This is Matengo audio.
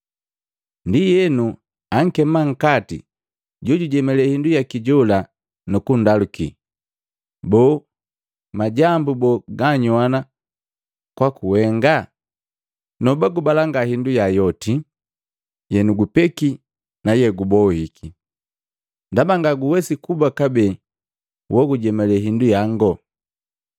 Ndienu ankema nkati jojujemalee hindu yaki jola nukundaluki, ‘Boo majambu bo ganagajoa kwaku wenga? Noba gubalanga hindu yangu yoti yegujopiki na yegubohiki, ndaba ngaguwesi kuba kabee wogujemalee hindu yango.’